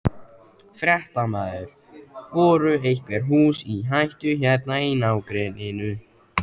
Fréttamaður: Voru einhver hús í hættu hérna í nágrenninu?